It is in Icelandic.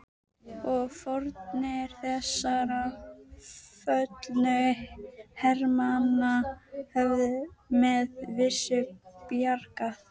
Og fórnir þessara föllnu hermanna höfðu með vissu bjargað